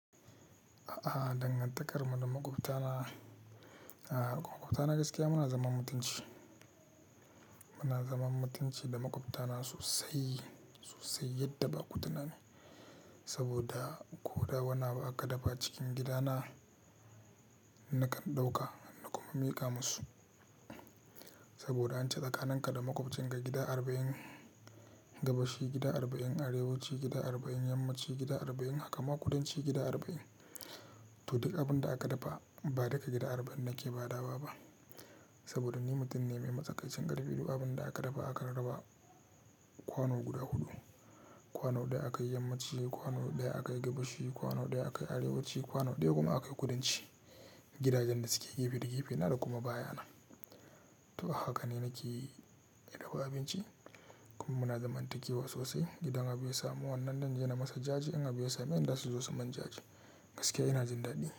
A'a, dangantakarmar da maƙwabtana. A'a, maƙwabtana gaskiya muna zaman mutunci. Muna zaman mutunci da maƙwabtana sosai, sosai yadda ba ku tunani. Saboda ko da wanna ba'a ka dafa cikin gidana, nakan ɗauka na kuma miƙa musu. Saboda an ce tsakanin ka da maƙwabcin ka gida arba'in, gabashi gida arba'in, arewa ci gida arba'in, yamma ci gida arba'in, haka ma kudanci gida arba'in. To duk abin da aka dafa ba daga gida arba'in nake ba da wa ba. Saboda ni mutum ne mai matsakaicin ƙarfi, duk abin da aka raba aka raba kwano guda huɗu. Kwano ɗaya aka yi yamma ci, kwano ɗaya aka yi gabashi, kwano ɗaya aka yi arewa ci, kwano ɗaya kuma aka yi kudanci. Gidajen da suke gefe da gefe na da kuma baya na. To haka ne nake ɗaukar abinci kuma muna zaman taƙiwa sosai. Gidan abu ya samu wannan nan ne na masa jaji, in abu ya sami in na su zo su manjaji. Gaskiya ina jin daɗi.